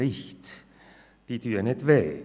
Diese tun nicht weh.